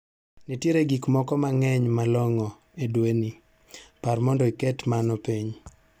Nitiere gik moko mang'ny ma long'o e dweni, par mondo iket mano piny.